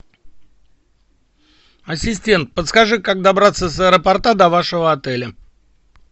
ассистент подскажи как добраться с аэропорта до вашего отеля